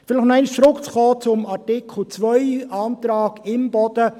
Um vielleicht noch einmal zurückzukommen zum Artikel 2 Antrag Imboden: